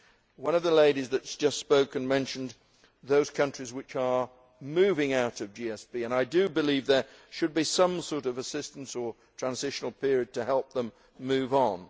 One of the ladies who have just spoken mentioned those countries which are moving out of GSP, and I believe there should be some sort of assistance or transitional period to help them move on.